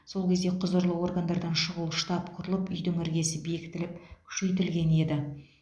сол кезде құзырлы органдардан шұғыл штаб құрылып үйдің іргесі бекітіліп күшейтілген еді